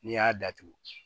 N'i y'a datugu